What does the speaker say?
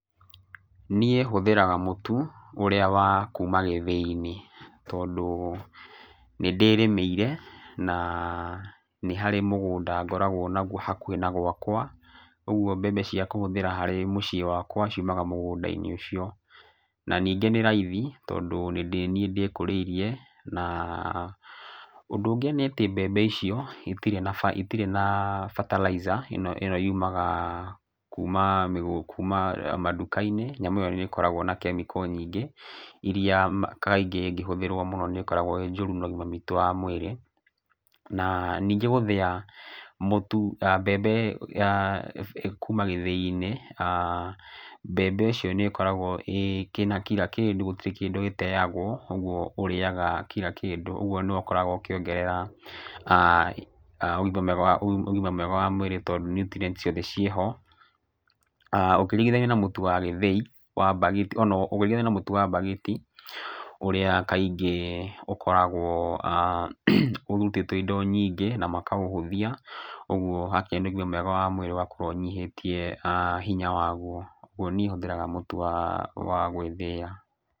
Niĩ hũthĩraga mũtu ũrĩa wakuma gĩthĩi-inĩ. Tondũ nĩ ndĩrĩmĩire na nĩ harĩ mũgũnda ngoragwo naguo hakuhĩ na gwakwa. Ũguo mbembe cia kũhũthĩra harĩ mũciĩ wakwa ciumaga mũgũnda-inĩ ũcio. Na ningĩ nĩ raithi tondũ nĩ niĩ ndĩkũrĩirie. Na ũndũ ũngĩ nĩ atĩ mbembe icio itirĩ na fertilizer ĩno yuumaga kuma manduka-inĩ, nyamũ ĩyo nĩ ĩkoragwo na chemical nyingĩ, irĩa kaingĩ ingĩhũthĩrwo mũno nĩ ĩkoragwo ĩĩ njũru na ũgima witũ wa mwĩrĩ. Na ningĩ gũthĩa mũtu mbembe kuuma gĩthĩi-inĩ mbembe icio nĩ ĩkoragwo ĩna kila kĩndũ gũtirĩ kĩndũ gĩteagwo ũguo ũrĩaga kila kĩndũ. Ũguo ũkoragwo ũkĩongerera ũgima mwega wa mwĩrĩ tondũ nutrients ciothe ciĩ ho. Ũkĩringithania na mũtu wa gĩthĩi, mbagiti ũrĩa kaingĩ ũkoragwo ũrutĩtwo indo nyingĩ na makaũhũthia. Ũguo hakinya nĩ ũgima mwega wa mwĩrĩ ũgakorwo ũnyihĩtie hinya waguo. Ũguo niĩ hũthĩraga mũtu wa gwĩthĩĩra.